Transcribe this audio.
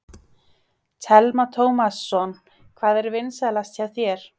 Telma Tómasson: Hvað er vinsælast hjá þér?